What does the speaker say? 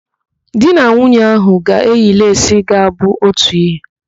Di na nwunye ahụ ga-eyi leesi ga-abụ otu ihe.